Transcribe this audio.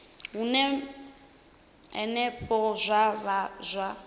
hune henefho zwa vha zwa